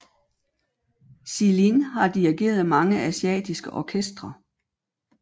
Xilin har dirigeret mange asiatiske orkestre